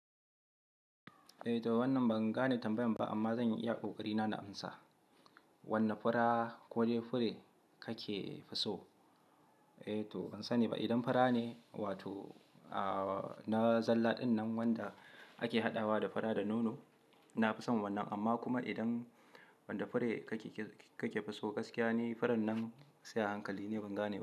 Eh to wannan ban gane tambayan ba amma zanyi iya kokari na na amsa. Wanne fura kode fure kake fi so? Eh to ban sani ba idan fura ne wato na zalla dinnan wanda ake hadawa da fura da nono. Na fi son wannan amma kuma idan wanda fure kake fi so gaskiya ni furen nan sai a hankali ni ban gane ba.